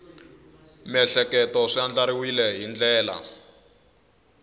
miehleketo swi andlariwile hi ndlela